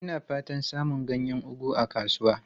Ina fatan samun ganyen ugu a kasuwa.